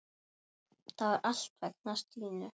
Það var allt vegna Stínu.